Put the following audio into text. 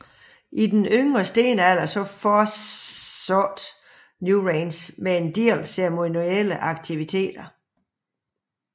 I yngre stenalder fortsatte Newgrange med en del ceremonielle aktiviteter